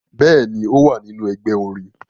Bẹẹni, o wa ninu ẹgbẹ orin